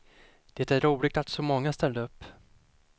Det är roligt att så många ställde upp.